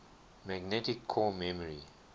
magnetic core memory